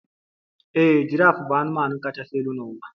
Ee, giraf bụ ụmụ anụmanụ kachasị elu n'ụwa